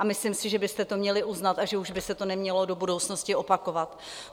A myslím si, že byste to měli uznat a že už by se to nemělo do budoucnosti opakovat.